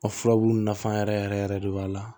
A furabulu nafa yɛrɛ yɛrɛ yɛrɛ de b'a la